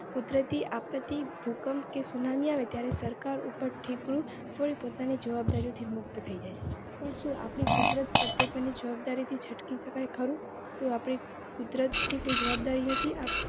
કુદરતી આપતી ભૂકંપ કે સુનામી આવે ત્યારે સરકાર ઉપર ઠીકરું પોતાની જવાબદારી થી મુક્ત થઇ જાય છે. પણ શુ આપળે કુદરત પર ની જવાબદારી થી છટકી શકાય ખરું? શુ આપળે કુદરત ની કોઈ જવાબદારી નથી?